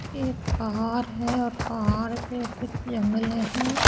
एक पहाड़ है और पहाड़ पे कुछ जंगले है।